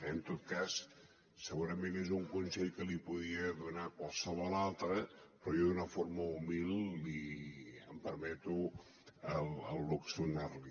en tot cas segurament és un consell que li podria donar qualsevol altre però jo d’una forma humil em permeto el luxe de donar li